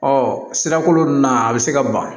Ɔ sirakolon na a bɛ se ka ban